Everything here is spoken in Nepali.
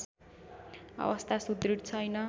अवस्था सुदृढ छैन